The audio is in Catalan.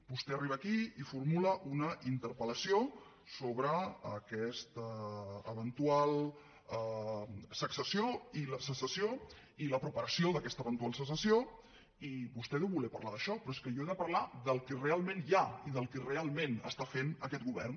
vostè arriba aquí i formula una interpel·lació sobre aquesta eventual secessió i la preparació d’aquesta eventual secessió i vostè deu voler parlar d’això però és que jo he de parlar del que realment hi ha i del que realment està fent aquest govern